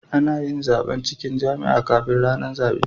Anayin zaban cikin jam'iya kafin rAnan zabe